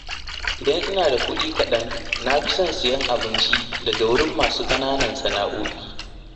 Idan ina da kuɗi kaɗan na fi son siyan abinci daga wurin masu ƙananan sana’o’i.